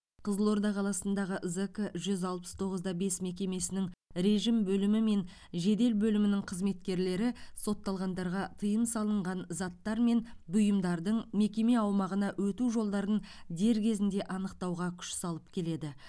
қызылорда қаласындағы зк жүз алпыс тоғыз да бес мекемесінің режім бөлімі мен жедел бөлімінің қызметкерлері сотталғандарға тыйым салынған заттар мен бұйымдардың мекеме аумағына өту жолдарын дер кезінде анықтауға күш салып келеді